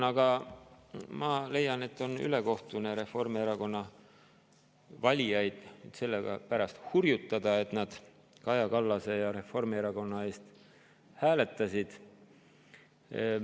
Aga ma leian, et on ülekohtune Reformierakonna valijaid selle pärast hurjutada, et nad Kaja Kallast ja Reformierakonda.